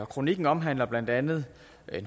kronikken omhandler blandt andet